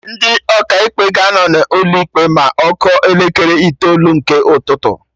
Ndị Ọkaikpe ga-anọ n'ụlọ ikpe ma ọ kụọ elekere itoolu nke ụtụtụ